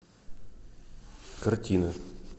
картина